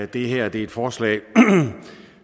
det her er et forslag